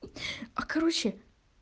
а короче